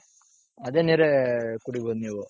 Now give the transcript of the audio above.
ಅದೇ ನೀರೆ ಕುಡಿಬಹುದು ನೀವು.